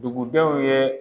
Dugudenw ye.